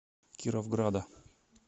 кировграда